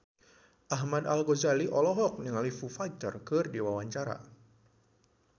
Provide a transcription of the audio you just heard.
Ahmad Al-Ghazali olohok ningali Foo Fighter keur diwawancara